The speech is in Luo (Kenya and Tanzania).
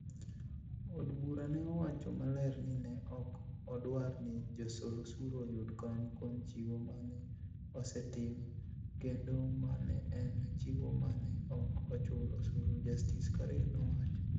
Od bura ne owacho maler ni ne ok odwar ni josol osuru oyud kony kuom chiwo ma ne osetim kendo ma ne en chiwo ma ne ok ochul osuru, Justice Korir nowacho.